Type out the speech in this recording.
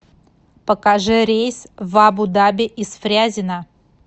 покажи рейс в абу даби из фрязино